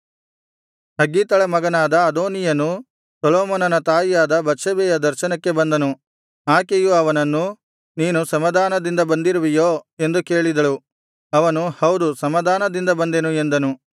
ಹಗ್ಗೀತಳ ಮಗನಾದ ಅದೋನೀಯನು ಸೊಲೊಮೋನನ ತಾಯಿಯಾದ ಬತ್ಷೆಬೆಯ ದರ್ಶನಕ್ಕೆ ಬಂದನು ಆಕೆಯು ಅವನನ್ನು ನೀನು ಸಮಾಧಾನದಿಂದ ಬಂದಿರುವೆಯೋ ಎಂದು ಕೇಳಿದಳು ಅವನು ಹೌದು ಸಮಾಧಾನದಿಂದ ಬಂದೆನು ಎಂದನು